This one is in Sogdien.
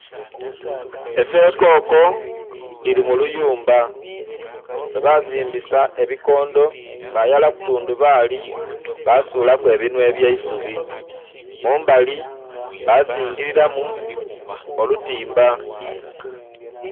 Esekoko dhirimuluyumba lwebazimbisa ebikondho bayaraku tundhubali basulaku ebinhwa ebyeisubi mumbali bazingiriramu oluyumba.